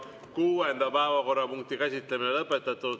Kuuenda päevakorrapunkti käsitlemine on lõpetatud.